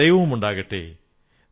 നൽകുന്നതിൽ നിങ്ങൾക്ക് സന്തോഷം ലഭിക്കും